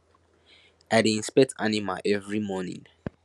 i dey inspect animal every morning